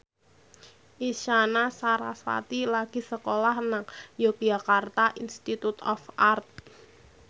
Isyana Sarasvati lagi sekolah nang Yogyakarta Institute of Art